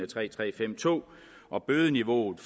tre tre fem og bødeniveauet